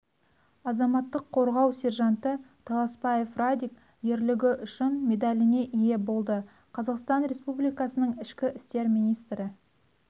азаматтық қорғау сержанты таласбаев радик ерлігі үшін медаліне ие болды қазақстан республикасының ішкі істер министрі